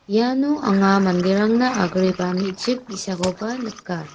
iano anga manderangna agreba me·chik bi·sakoba nika.